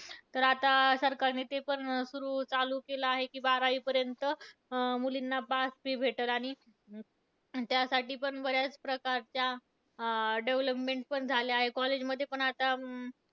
तर आता सरकारनी ते पण सुरु चालू केलंय की बारावीपर्यंत, अं मुलींना pass free भेटल आणि त्यासाठी पण बऱ्याच प्रकारच्या, अं development पण झाल्या आहे. college मध्ये पण आता,